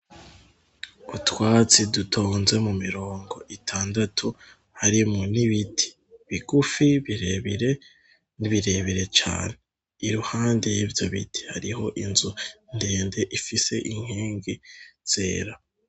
Utwatsi dutonze mu mirongo itandatu, harimwo n'ibiti bigufi, birebire, n'ibirebire cane, iruhande y'ivyo biti hariho inzu ndende ifise inkingi zera.